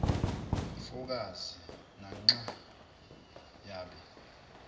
mfokazi nanxa yabe